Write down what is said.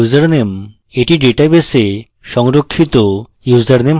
এটি ডাটাবেসে সংরক্ষিত ইউসারনেম হবে